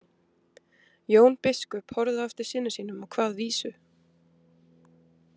Jón biskup horfði á eftir syni sínum og kvað vísu: